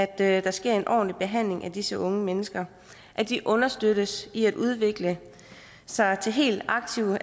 at der sker en ordentlig behandling af disse unge mennesker at de understøttes i at udvikle sig til helt